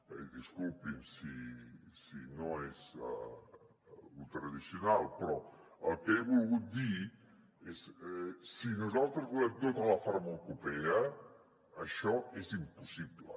i disculpin si no és lo tradicional però el que he volgut dir és si nosaltres volem tota la farmacopea això és impossible